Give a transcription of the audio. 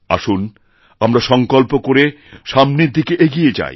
আসুনআমরা সংকল্প করে সামনের দিকে এগিয়ে যাই